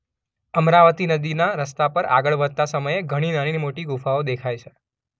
અમરાવતી નદીના રસ્તા પર આગળ વધતા સમયે અન્ય ઘણી નાની-મોટી ગુફાઓ દેખાય છે